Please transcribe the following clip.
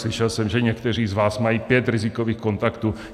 Slyšel jsem, že někteří z vás mají pět rizikových kontaktů.